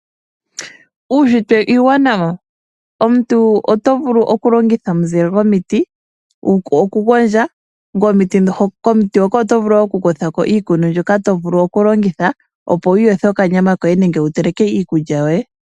Uunshitwe uuwanawa. Omuntu oto vulu okulongitha omizile dhomiti okugondja , ngoye komuti hoka oto vulu okukutha ko iikuni mbyoka okulongitha opo wuyothe okanyama koye nenge wuteleke iikulya.